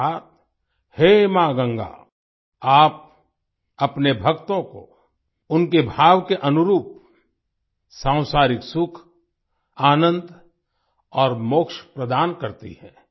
अर्थात् हे माँ गंगा आप अपने भक्तों को उनके भाव के अनुरूप सांसारिक सुख आनंद और मोक्ष प्रदान करती हैं